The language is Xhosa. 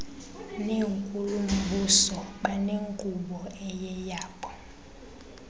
nenkulumbuso banenkqubo eyeyabo